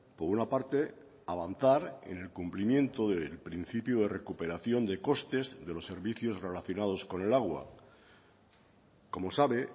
por una parte avanzar en el cumplimiento del principio de recuperación de costes de los servicios relacionados con el agua como sabe